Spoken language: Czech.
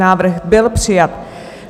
Návrh byl přijat.